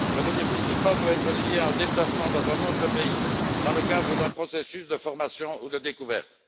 Deuxièmement, le bénéfice du pass doit être lié à un déplacement dans un autre pays dans le cadre d'un processus de formation ou de découverte.